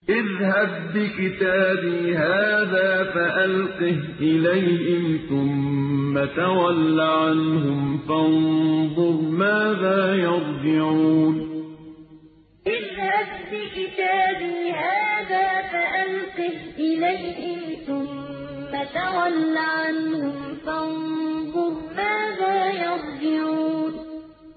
اذْهَب بِّكِتَابِي هَٰذَا فَأَلْقِهْ إِلَيْهِمْ ثُمَّ تَوَلَّ عَنْهُمْ فَانظُرْ مَاذَا يَرْجِعُونَ اذْهَب بِّكِتَابِي هَٰذَا فَأَلْقِهْ إِلَيْهِمْ ثُمَّ تَوَلَّ عَنْهُمْ فَانظُرْ مَاذَا يَرْجِعُونَ